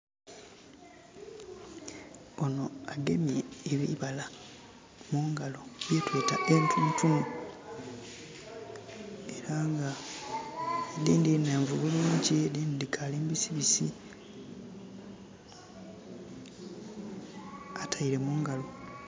Onho agemye ebibala mungalo bye tweeta entuntunu. Era nga edhindhi nhenvu bulungi, edhindhi dhikaali mbisibisi. Ataile mungalo...